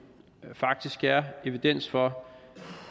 faktisk er evidens for